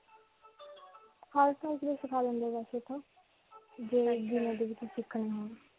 ਵੈਸੇ ਤਾਂ, ਜਿਵੇਂ ਦੇ ਤੁਸੀਂ ਸਿਖਨੇ ਹੋਣ.